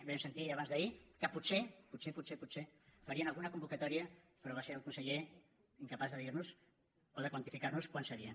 ahir vam sentir i abans d’ahir que potser potser potser potser farien alguna convocatòria però va ser el conseller incapaç de dir nos o de quantificar nos quan seria